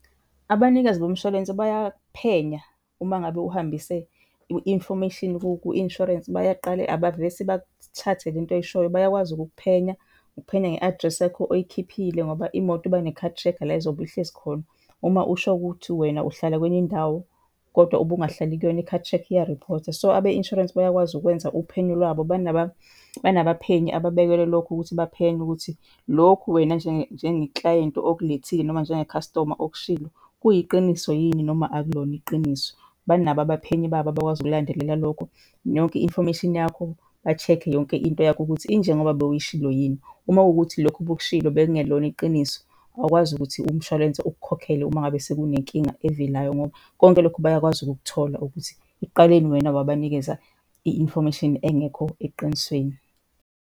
Abanikazi bomshwalense bayaphenya uma ngabe uhambise i-infomeshini ku-insurance bayaqale, abavesi bathathe le nto oyishoyo. Bayakwazi ukukuphenya, ukukuphenya nge-address yakho oyikhiphile ngoba imoto iba ne-car tracker la izobe ihlezi khona. Uma usho ukuthi wena uhlala kwenye indawo kodwa ube ungahlali kuyona i-car tracker iya-report-a. So, abe insurance bayakwazi ukwenza uphenyo lwabo. Banabaphenyi ababekelwe lokho ukuthi baphenye ukuthi lokhu wena njengeklayenti okulethile noma njengekhasitoma okushilo kuyiqiniso yini noma akulona iqiniso? Banabo abaphenyi babo abakwazi ukulandelela lokho. Yonke i-infomeshini yakho, ba-check-e yonke into yakho ukuthi injengoba bowuyishilo yini. Uma kuwukuthi lokhu obukushilo bekungelona iqiniso, awukwazi ukuthi umshwalense ukukhokhele uma ngabe sekunenkinga evelayo ngoba konke lokho bayakwazi ukukuthola ukuthi ekuqaleni wena wabanikeza i-infomeshini engekho eqinisweni.